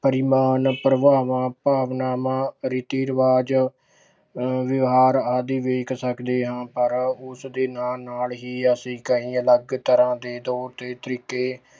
ਪਰਿਮਾਨ ਪ੍ਰਭਾਵਾਂ ਭਾਵਨਾਵਾਂ ਰੀਤੀ ਰਿਵਾਜ਼ ਅਹ ਵਿਹਾਰ ਆਦਿ ਵੇਖ ਸਕਦੇ ਹਾਂ ਪਰ ਉਸਦੇ ਨਾਲ ਨਾਲ ਹੀ ਅਸੀਂ ਕਈ ਅਲੱਗ ਤਰ੍ਹਾਂਂ ਦੇ ਤੌਰ ਤਰੀਕੇ